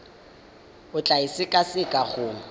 o tla e sekaseka go